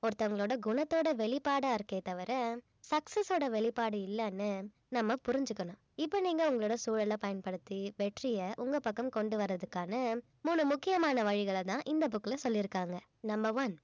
ஒருத்தவங்களோட குணத்தோட வெளிப்பாடா இருக்கே தவிர success ஓட வெளிப்பாடு இல்லன்னு நம்ம புரிஞ்சுக்கணும் இப்ப நீங்க அவங்களோட சூழலப் பயன்படுத்தி வெற்றிய உங்க பக்கம் கொண்டு வர்றதுக்கான மூணு முக்கியமான வழிகளைத்தான் இந்த book ல சொல்லியிருக்காங்க number one